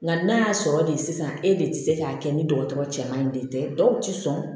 Nka n'a y'a sɔrɔ de sisan e de tɛ se k'a kɛ ni dɔgɔtɔrɔ cɛman in de tɛ dɔw ti sɔn